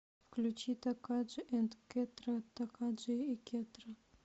включи такаджи энд кетра такаджи и кетра